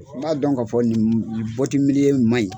N b'a dɔn k'a fɔ nin in ma ɲi.